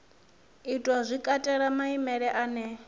itwa zwi katela maimele ane